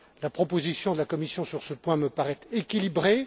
La proposition de la Commission sur ce point me paraît équilibrée.